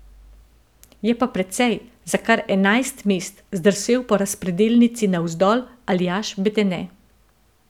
Je pa precej, za kar enajst mest, zdrsel po razpredelnici navzdol Aljaž Bedene.